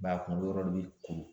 Ba kunkolo yɔrɔ dɔ bɛ kuru